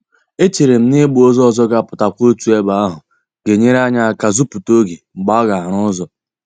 E chere m na ị gba ụzọ ọzọ ga-apụtakwa otu ebe ahụ ga-enyere anyị aka zuputa oge mgbe aga-arụ ụzọ